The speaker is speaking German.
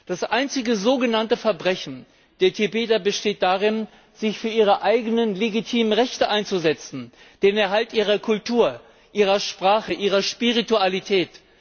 Das einzige sogenannte Verbrechen der Tibeter besteht darin, sich für ihre eigenen legitimen Rechte einzusetzen, den Erhalt ihrer Kultur, ihrer Sprache, ihrer Spiritualität.